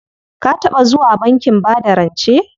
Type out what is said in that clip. Ka taɓa zuwa bankin bada rance?